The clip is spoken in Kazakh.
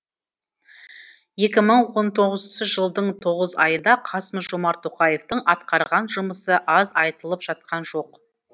екі мың он тоғызыншы жылдың тоғыз айында қасым жомарт тоқаевтың атқарған жұмысы аз айтылып жатқан жоқ